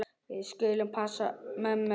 Við skulum passa mömmu.